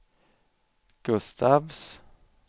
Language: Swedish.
Gustafs